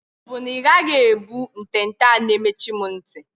Ọ bụ na ị gaghị ebu ntente a na-emechi m nti?